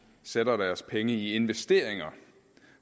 sætter deres penge i investeringer